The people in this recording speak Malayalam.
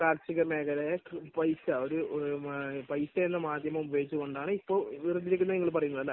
കാർഷികമേഖലയിലെ പൈസ, പൈസ എന്ന മാധ്യമം ഉപയോഗിച്ചുകൊണ്ടാണ് ഇപ്പോൾ വേർതിരിക്കുന്നതെന്നാണ് നിങ്ങൾ പറയുന്നത് അല്ലെ?